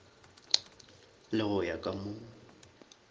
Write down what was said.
le go ya ka mo